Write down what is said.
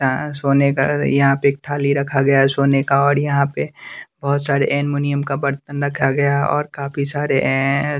सोने का यहाँ पे एक थाली रखा गया है सोने का और यहाँ पे बहुत सारे एलुमिनियम का बर्तन रखा गया है और काफी सारे एं --